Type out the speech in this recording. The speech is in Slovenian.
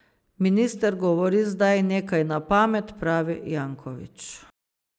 Minister govori zdaj nekaj na pamet, pravi Janković.